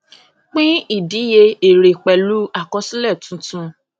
pín ìdíye èrè pẹlú àkọsílẹ tuntun